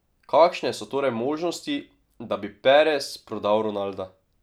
Kakšne so torej možnosti, da bi Perez prodal Ronalda?